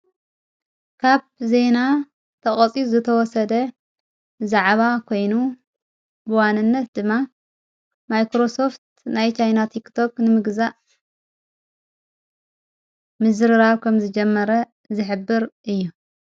ካብ ዜና ተቐፂ ዝተወሰደ ዛዕባ ኴይኑ ብዋነነት ድማ ማይክሮሶፍት ናይ ቻይና ቲክቶክ ንምግዛእ ምዝርራብ ከም ዝጀመረ ዝሕብር እዩ።